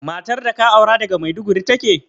Matar da ka aura daga Maiduguri take?